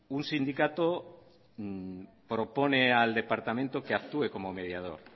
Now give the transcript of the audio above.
un sindicato propone al departamento que actúe como mediador